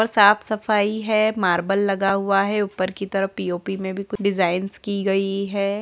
ऊपर साफ सफाई है मार्बल लगा हुआ है ऊपर की तरफ पी.ओ.पी. में भी कुछ डिजाइंस की गई है।